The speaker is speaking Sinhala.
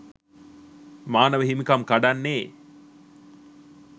මානව හිමිකම් කඩන්නේ